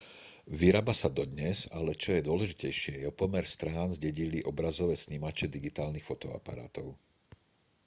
vyrába sa dodnes ale čo je dôležitejšie jeho pomer strán zdedili obrazové snímače digitálnych fotoaparátov